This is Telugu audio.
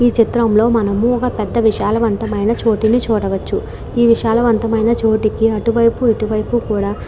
ఈ చిత్రం లో మనము ఒక పెద్ధ విశాలవంతమైన చోటుని చూడవచ్చు. ఈ విశాలవంతమైన చోటుకి అటువైపు ఇటువైపు కూడా --